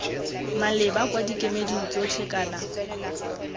maleba kwa dikemeding tsotlhe kana